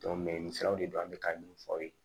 nin siraw de don an bɛ ka min fɔ aw ye